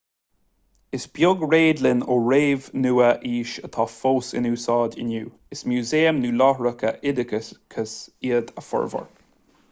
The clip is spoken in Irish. is beag réadlann ón réamh-nua-aois atá fós in úsáid inniu is músaeim nó láithreacha oideachais iad a bhformhór